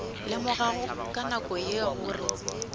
lemogago ka nako ye gore